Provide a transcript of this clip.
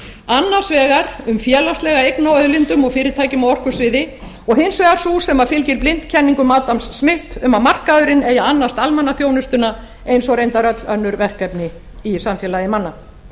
annars vegar um félagslega eign á auðlindum ég fyrirtækjum á orkusviði og hins vegar sú sem fylgir blint kenningum adams smiths um að markaðurinn eigi að annast almannaþjónustuna eins og reyndar öll önnur verkefni í samfélagi manna